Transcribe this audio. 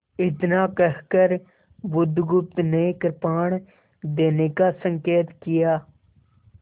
इतना कहकर बुधगुप्त ने कृपाण देने का संकेत किया